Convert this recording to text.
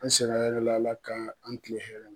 An sira hɛrɛ la Ala ka an kile hɛrɛ la.